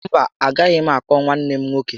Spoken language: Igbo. Mba, agaghị m àkpọ̀ nwanne m nwoke